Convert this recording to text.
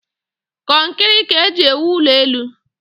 Kọnkịrị ka eji ewụ ụlọ elụ